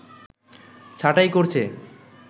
ছাঁটাই করছে